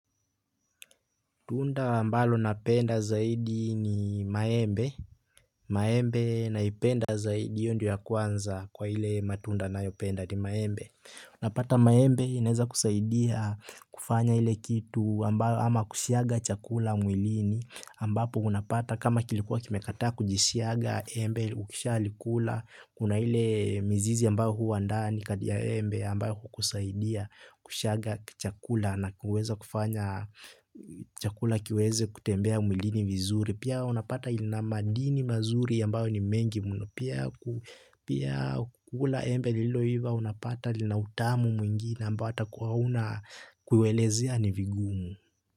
Tunda ambalo napenda zaidi ni maembe. Maembe naipenda zaidi iyo ndo ya kwanza kwa hile matunda nayopenda ni maembe. Unapata maembe inaweza kusaidia kufanya hile kitu ambayo ama kusiaga chakula mwilini ambapo unapata kama kilikuwa kimekataa kujisiaga embe ukishalikula. Kuna ile mzizi ambayo huwa ndani kati ya embe ambayo kukusaidia kushaga chakula na kuweza kufanya chakula kiweze kutembea mwilini vizuri. Pia unapata ilina madini mazuri ambayo ni mengi mno. Pia kukula embe liloiva unapata lina utamu mwingine ambayo ata kuwauna kuiwelezea ni vigumu.